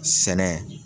Sɛnɛ